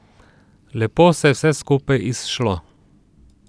Lepo se je vse skupaj izšlo.